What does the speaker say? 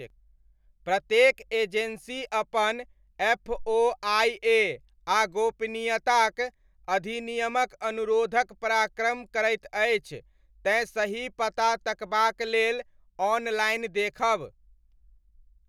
प्रत्येक एजेन्सी अपन एफओआइए आ गोपनीयताक अधिनियमक अनुरोधक पराक्रम करैत अछि तैँ सही पता तकबाक लेल ऑनलाइन देखब।